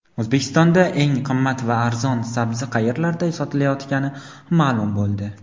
O‘zbekistonda eng qimmat va arzon sabzi qayerlarda sotilayotgani ma’lum bo‘ldi.